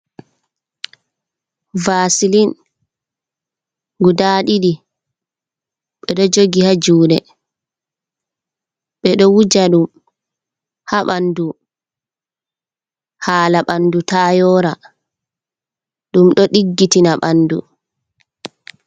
Vasilin guda didi bedo jogi ha jude bedo wuja dum ha bandu hala bandu ta yora dum do diggitina bandu.